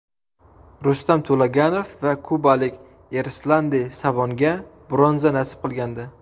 Rustam To‘laganov va kubalik Erislandi Savonga bronza nasib qilgandi.